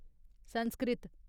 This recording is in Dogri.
संस्कृत